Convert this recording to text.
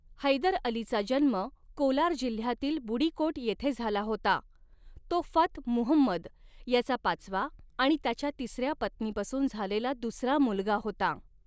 हैदर अलीचा जन्म कोलार जिल्ह्यातील बुडीकोट येथे झाला होता , तो फथ मुहम्मद याचा पाचवा आणि त्याच्या तिसऱ्या पत्नीपासून झालेला दुसरा मुलगा होता.